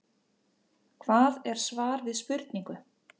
Hvað er svar við spurningu?